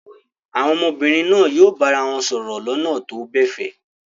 Àwọn ọmọbìnrin náà yóò bára wọn sọ̀rọ̀ lọ́nà tó gbẹ̀fẹ̀.